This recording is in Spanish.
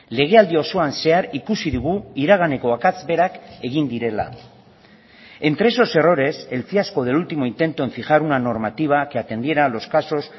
legealdi osoan zehar ikusi dugu iraganeko akats berak egin direla entre esos errores el fiasco del último intento en fijar una normativa que atendiera a los casos